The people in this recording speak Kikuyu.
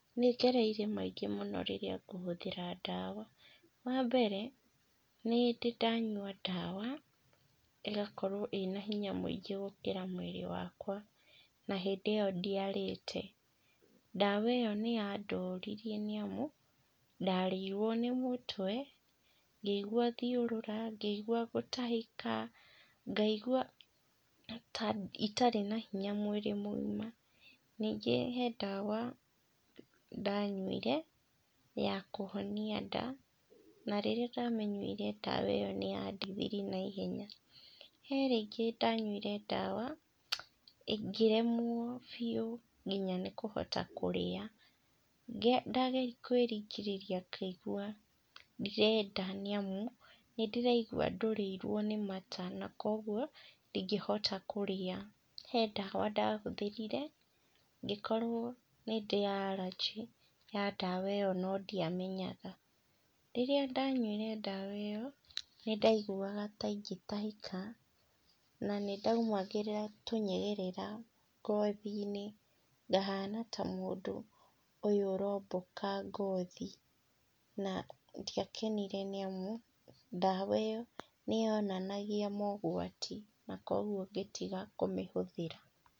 Nĩngereire maingĩ mũno rĩrĩa ngũhũthĩra ndawa, wa mbere, nĩ ndĩ ndanyua ndawa, ĩgakorwo ĩna hinya mũingĩ gũkĩra mwĩrĩ wakwa, na hindĩ ĩyo ndiarĩte, ndawa ĩyo nĩyandoririe nĩamu, ndarĩirwo nĩ mũtwe, ngĩigua thiũrũra, ngĩigua gũtahĩka, ngaigua ta itarĩ na hinya mwĩrĩ mũgima, ningĩ he ndawa ndanyuire ya kũhonia nda, na rĩrĩa ndamĩnyuire ndawa ĩyo nĩyandeithirie na ihenya. He ringĩ ndanyuire ndawa, ngĩremwo biũ nginya nĩkũhota kũrĩa, ngĩ ndageria kwĩringĩrĩria ngaigua ndirenda nĩ amu, nĩndĩraigua ndũrĩirwo nĩ mata na koguo, ndingĩhota kũrĩa. He ndawa ndahũthĩrire, ngĩkorwo nĩndĩ aranjĩ ya ndawa ĩyo no ndiamenyaga. Rĩrĩa ndanyuire ndawa ĩyo, nĩndaiguaga ta ingĩtahĩka, na nĩndaumagĩrĩra tũnyegerera ngothi-inĩ, ngahana ta mũndũ ũyũ ũromboka ngothi, na ndiakenire nĩamu, ndawa ĩyo, nĩyonanagia mogwati na koguo ngĩtiga kũmĩhũthĩra.